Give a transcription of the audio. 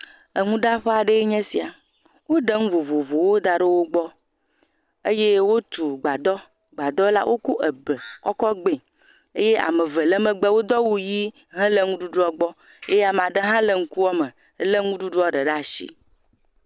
Eŋuɖaƒe aɖee nye esia, woɖe ŋu vovovowo da ɖe wogbɔ eye wotu gbadɔ, gbadɔ la, woko ebe kɔ kɔ gb0 eye ame eve le megbe wodo awu ʋi hele ŋuɖuɖuɔ gbɔ, eye ame aɖe hã le ŋkuɔ me, lé ŋuɖuɖuɔ ɖe ɖe atsi.